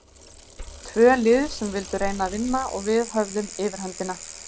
Tvö lið sem vildu reyna að vinna og við höfðum yfirhöndina.